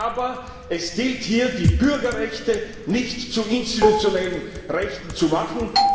Aber es gilt hier, die Bürgerrechte nicht zu institutionellen Rechten zu machen.